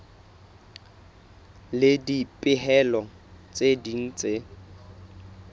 le dipehelo tse ding tse